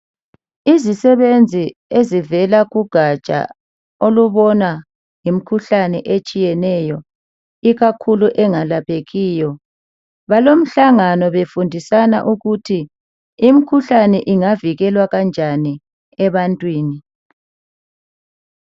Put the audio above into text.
Izisebenzi ezivela kugatsha olubona ngemkhuhlane etshiyeneyo ikakhulu engalaphekiyo balomhlangano befundisana ukuthi imkhuhlane ingavikelwa kanjani ebantwini.